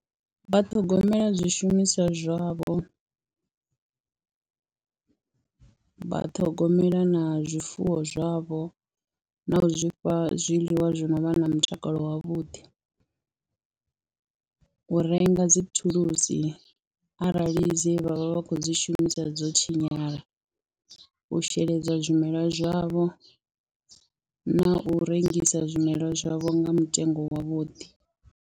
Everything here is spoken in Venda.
Vha ṱhogomela zwishumiswa zwavho, vha ṱhogomela na zwifuwo zwavho na u zwi fha zwiḽiwa zwi no vha na mutakalo wavhuḓi, u renga dzi thulusi arali dze vha vha vha khou dzi shumisa dzo tshinyala, u sheledza zwimelwa zwavho na u rengisa zwimelwa zwavho nga mutengo wavhuḓi.